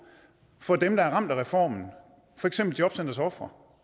for dem der er ramt af reformen for eksempel jobcentrets ofre